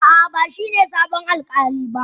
A'a, ba shi ne sabon alƙali ba.